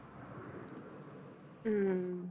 ਹਮ